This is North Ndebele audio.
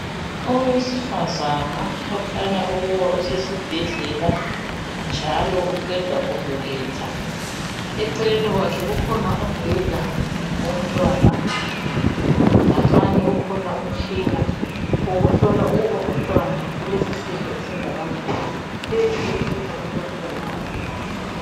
Owesifazana okhanya ukuba usesibhedlela njalo uqeda kubeletha. Eceleni kwakhe kukhona umbheda womntwana nganxanye ukhona umtshina wokuhlola ukuba umntwana ulesisindo esingakanani, phezu komtshina kulomntwana wakhe.